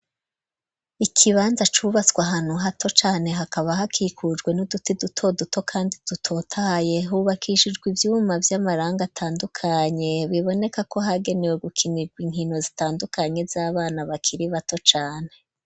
Ikibanza cubatswe, ahantu hato cane, hakaba hakikujwe, n'uduti duto duto, kandi dutotahaye; hubakijijwe ivyuma, vy'amarangi atandukanye, biboneka ko, hagenewe gukinirwa, inkino zitandukanye, z'abana, bakiri bato cane.